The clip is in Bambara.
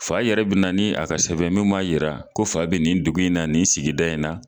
Fa yɛrɛ bɛ na nia ka sɛbɛn min b'a jira ko fa bɛ nin dugu in na, nin sigida in na.